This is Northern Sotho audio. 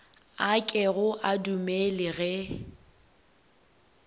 a kego a dumele ge